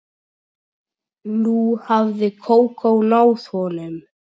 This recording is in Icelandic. Nú hafði Kókó náð honum.